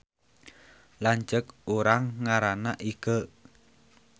Lanceuk urang ngaranna Ikeu